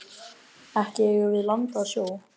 Ekki eigum við land að sjó.